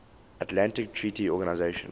atlantic treaty organisation